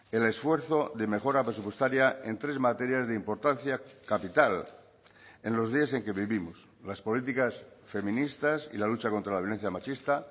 el esfuerzo de mejora presupuestaria en tres materias de importancia capital en los días en que vivimos las políticas feministas y la lucha contra la violencia machista